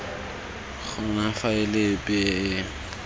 gona faele epe e e